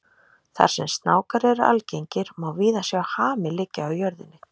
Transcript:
Þar sem snákar eru algengir má víða sjá hami liggja á jörðinni.